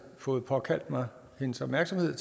fået påkaldt mig hendes opmærksomhed